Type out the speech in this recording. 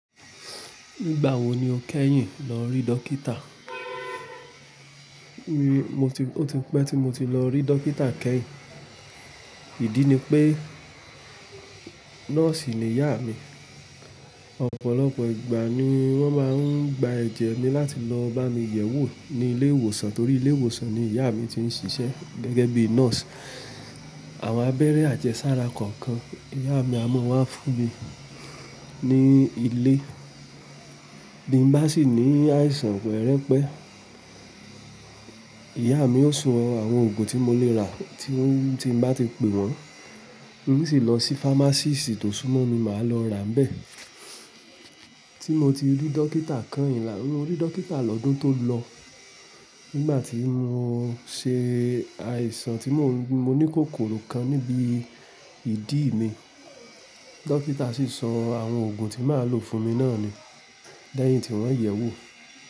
Nígbà wo ni o kẹ́yìn lọ rí dókítà? Mi, mo ti-- ó ti pẹ́ tí mo ti lọ rí dókítà kẹ́yìn. Ìdí ni pé, nọ́ọ̀sì ni ìyá mi. Ọ̀pọ̀lọpọ̀ ìgbà ni wọ́n máa ń gba ẹ̀jẹ́ mi láti lọ bá mi yẹ̀wò ní ilé ìwòsàn torí ilé ìwòsàn ni ìyá mi ti ń ṣiṣẹ́ gẹ́gẹ́ bí nọ́ọ̀sì. Àwọn abẹ́rẹ́ àjẹsára kọ̀ọ̀kan ìyá mi á mọ́ wa fún mi ní ilé. Bí mo bá sì ní àìsàn pẹ́rẹ́pẹ́, ìyá mi ó sọ àwọn òògùn tí mo lè rà tí ó-- tí mo bá ti pè wọ́n. Mo sì lọ sí fámásìst tó súmọ́ mi, màá lọ rà bẹ́ẹ̀. Tí mo ti rí dókítà kányìn là-- rí dókítà lọ́dún tó lọ. Nígbà tí mo ṣe àìsàn tí mo ní kòkòrò kan níbi ìdí mi. Dókítà sì sọ àwọn òògùn tí màá lò fún mi náà ni. Lẹ́yìn tí wọ́n yẹ̀wò.